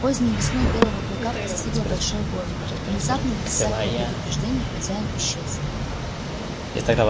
поздней весной белого клыка постигло большое горе внезапно без всякого предупреждения хозяин исчез